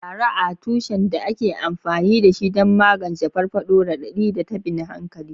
Laraa, tushen da ake amfani da shi don magance farfaɗo, raɗaɗi, da tabin hankali.